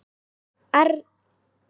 Algjör perla.